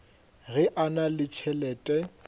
ge a na le tšhelete